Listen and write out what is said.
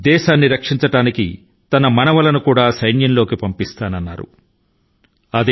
దేశ రక్షణ కోసం తన మనవళ్లను కూడా సైన్యాని కి పంపడానికి సిద్ధం గా ఉన్నట్లు ఆయన ప్రకటించారు